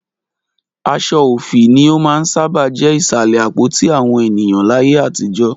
Aṣọ òfì ni ó máa ń sábà jẹ́ Ìsàlẹ̀ àpótí àwọn ènìyàn láyé àtijọ́